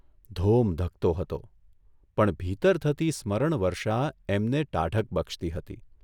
ધોમ ધખતો હતો, પણ ભીતર થતી સ્મરણવર્ષા એમને ટાઢક બક્ષતી હતી.